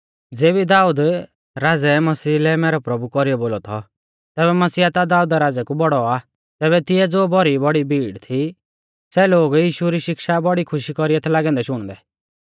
ज़ेबी दाऊद राज़ै मसीहा लै मैरौ प्रभु कौरीऐ बोलौ थौ तैबै मसीह ता दाऊदा राज़ै कु बौड़ौ आ तैबै तिऐ ज़ो भौरी बौड़ी भीड़ थी सै लोग यीशु री शिक्षा बौड़ी खुशी कौरीऐ थै लागै औन्दै शुणदै